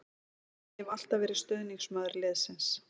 Ég hef alltaf verið stuðningsmaður liðsins.